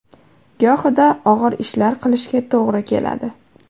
Gohida og‘ir ishlar qilishga to‘g‘ri keladi.